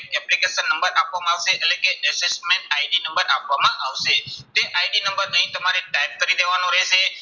application number આપવામાં આવશે એટલે કે assessment ID નંબર આપવામાં આવશે. તે ID નંબર અહીં તમારે type કરી દેવાનો રહેશે.